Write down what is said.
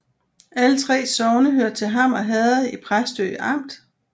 Alle 3 sogne hørte til Hammer Herred i Præstø Amt